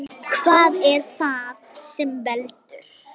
Hvað er það sem veldur?